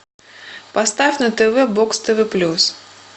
поставь на тв бокс тв плюс